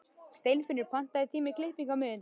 Steinfinnur, pantaðu tíma í klippingu á miðvikudaginn.